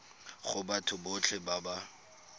go batho botlhe ba ba